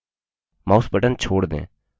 mouse button छोड़ दें